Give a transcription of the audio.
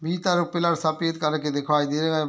भीतर एगो पिल्लर सफ़ेद कलर के दिखाई देरे है।